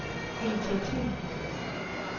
initiativer